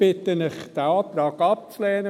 Ich bitte Sie, diesen Antrag abzulehnen.